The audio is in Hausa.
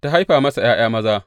Ta haifa masa ’ya’ya maza.